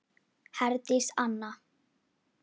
Herdís Anna.